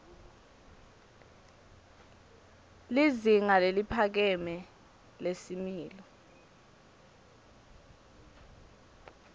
lizinga leliphakeme lesimilo